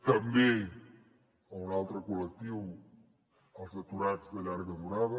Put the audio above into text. també un altre col·lectiu els aturats de llarga durada